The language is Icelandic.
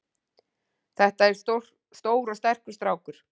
Þetta er stór og sterkur strákur.